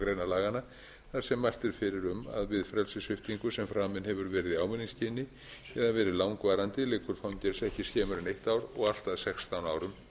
laganna þar sem mælt er fyrir um að við frelsissviptingu sem framin hefur verið í ávinningsskyni eða verið langvarandi liggur fangelsi ekki skemur en eitt ár og allt að sextán árum